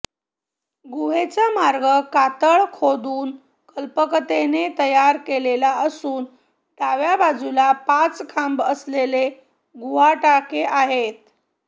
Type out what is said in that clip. गुहेचा मार्ग कातळ खोदून कल्पकतेने तयार केलेला असून डाव्या बाजूला पाच खांब असलेले गुहाटाके आहेत